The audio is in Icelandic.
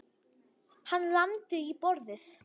Hann lamdi í borðið.